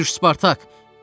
Başa düş Spartak.